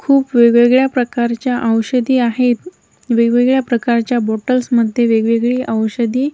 खूप वेगवेगळ्या प्रकारच्या औषधी आहेत वेगवेगळ्या प्रकारच्या बॉटल्स मध्ये वेगवेगळी औषधी--